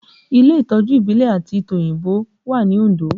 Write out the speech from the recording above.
Ilé Ìtọ́jú ìbílẹ̀ àti tòyìnbó wà ní Ondo